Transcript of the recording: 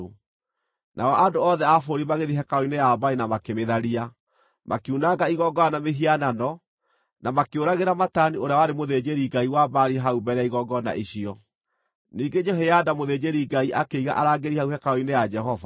Nao andũ othe a bũrũri magĩthiĩ hekarũ-inĩ ya Baali na makĩmĩtharia. Makiunanga igongona na mĩhianano, na makĩũragĩra Matani ũrĩa warĩ mũthĩnjĩri-ngai wa Baali hau mbere ya igongona icio. Ningĩ Jehoiada mũthĩnjĩri-Ngai akĩiga arangĩri hau hekarũ-inĩ ya Jehova.